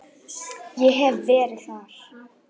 Ég hef verið þar.